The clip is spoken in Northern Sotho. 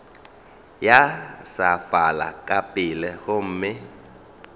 ya sefala ka pela gomme